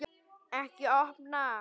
Ekki opna